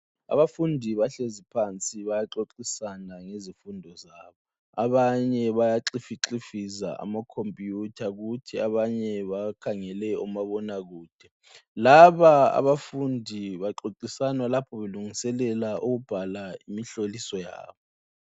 Abafundi bahlezi phansi bayaxoxisana ngezifundo zabo. Abanye bayaxifixifiza amakhompiyutha kuthi abanye bakhangele omabonakude. Laba abafundi baxoxisana lapho belungiselela ukubhala imihloliso yabo